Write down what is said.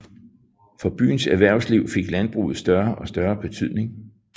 For byens erhvervsliv fik landbruget større og større betydning